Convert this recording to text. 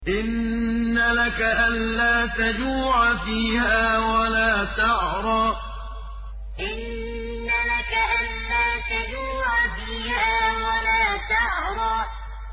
إِنَّ لَكَ أَلَّا تَجُوعَ فِيهَا وَلَا تَعْرَىٰ إِنَّ لَكَ أَلَّا تَجُوعَ فِيهَا وَلَا تَعْرَىٰ